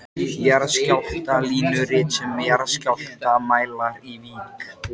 Jarðskjálftalínurit sem jarðskjálftamælar í Vík í